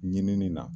Ɲinini na